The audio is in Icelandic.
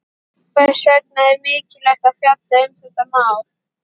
Hvers vegna er mikilvægt að fjalla um þetta mál?